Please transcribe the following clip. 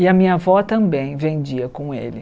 E a minha avó também vendia com ele.